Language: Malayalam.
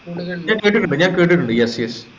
ഞാൻ കേട്ടിട്ടുണ്ട് കേട്ടിട്ടുണ്ട് yes yes